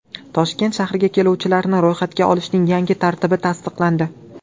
Toshkent shahriga keluvchilarni ro‘yxatga olishning yangi tartibi tasdiqlandi.